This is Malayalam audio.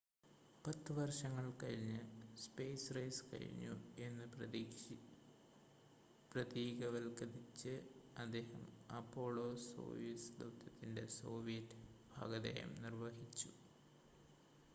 പത്ത് വർഷങ്ങൾ കഴിഞ്ഞ് സ്പെയ്സ് റേസ് കഴിഞ്ഞു എന്ന് പ്രതീകവത്ക്കരിച്ച് അദ്ദേഹം അപോളോ-സോയുസ് ദൗത്യത്തിൻ്റെ സോവിയറ്റ് ഭാഗധേയം നിർവ്വഹിച്ചു